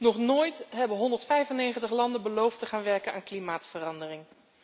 Nog nooit hebben 195 landen beloofd te gaan werken aan klimaatverandering.